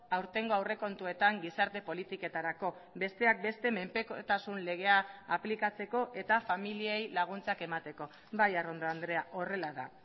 aurtengo aurrekontuetan gizarte politiketarako besteak beste menpekotasun legea aplikatzeko eta familiei laguntzak emateko bai arrondo andrea horrela da